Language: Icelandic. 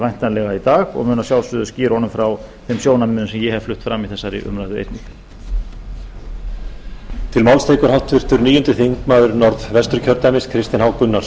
væntanlega í dag og mun að sjálfsögðu skýra honum frá þeim sjónarmiðum sem ég hef flutt fram í þessari umræðu einnig